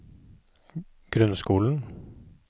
grunnskolen